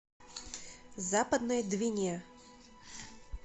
западной двине